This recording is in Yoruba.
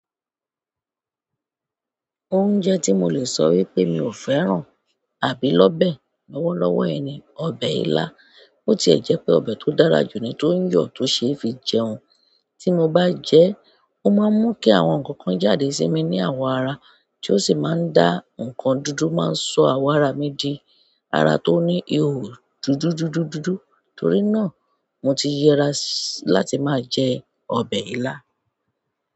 Oúnjẹ tí mo lè sọ wípé mi ò fẹ́ràn àbí lọ́ bẹ̀ lọ́wọ́lọ́wọ́ ẹ ni, ọbẹ̀ ilá. Bó ti ẹ̀ jẹ́ pé ọbẹ̀ tó dára jù ni tó ń yọ̀ tó ṣe é fi jẹun, tí mo bá jẹ ẹ́, ó máa ń mú kí àwọn nǹkan kan jáde sí mi ní àwọ̀ ara, tí ó sì máa ń dá nǹkan dúdú máa ń ṣọ àwọ̀ ara mi di ara tó ní ihò dúdú dúdú dúdú. Nítorí náà, mo ti yẹra láti máa jẹ ọbẹ̀ ilá.